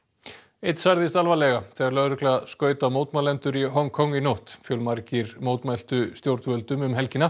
einn særðist alvarlega þegar lögregla skaut á mótmælendur í Hong Kong í nótt fjölmargir mótmæltu stjórnvöldum um helgina